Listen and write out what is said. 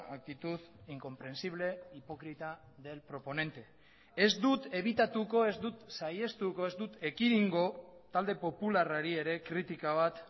actitud incomprensible hipócrita del proponente ez dut ebitatuko ez dut saihestuko ez dut ekidingo talde popularrari ere kritika bat